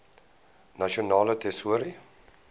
nasionale tesourie